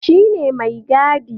Shi ne maigadi.